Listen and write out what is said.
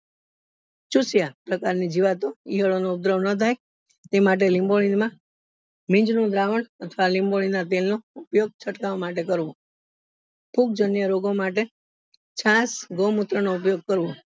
પ્રકાર ની નીવાતોન ઈયળો નો ઉપદ્ર્વ નાં થાય તે માટે લીંબોળી ના નિંજ નું દ્રાવણ અથવા લીંબોળી ના તેલ નો ઉપયોગ છટકાવ માટે કરવો ફૂગ જન્ય રોગ માટે છાસ ગૌ મૂત્ર નો ઉપયોગ કરવો